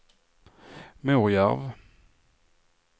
Morjärv